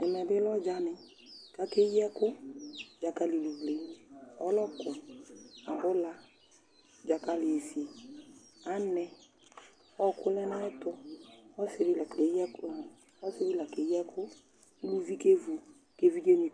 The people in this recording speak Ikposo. Ɛmɛ bɩ lɛ ɔdzanɩ kʋ akeyi ɛkʋ Dzakalɩluvle, ɔlɔkʋ, abʋla, dzakalɩ sisi, anɛ Ɔɣɔkʋ lɛ nʋ ayɛtʋ Ɔsɩ dɩ la keyi ɔ ɔsɩ dɩ la keyi ɛkʋ kʋ uluvi kevu kʋ evidzenɩ